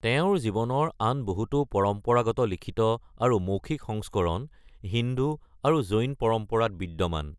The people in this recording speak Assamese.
তেওঁৰ জীৱনৰ আন বহুতো পৰম্পৰাগত লিখিত আৰু মৌখিক সংস্কৰণ হিন্দু আৰু জৈন পৰম্পৰাত বিদ্যমান।